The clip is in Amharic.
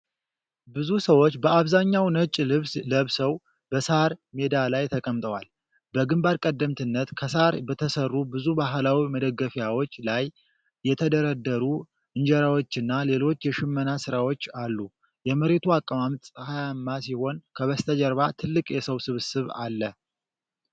ብዙ ሰዎች በአብዛኛው ነጭ ልብስ ለብሰው በሳር ሜዳ ላይ ተቀምጠዋል። በግንባር ቀደምትነት ከሳር በተሠሩ ብዙ ባህላዊ መደገፊያዎች ላይ የተደረደሩ እንጀራዎችና ሌሎች የሽመና ሥራዎች አሉ። የመሬቱ አቀማመጥ ፀሐያማ ሲሆን ከበስተጀርባ ትልቅ የሰዎች ስብስብ አለ።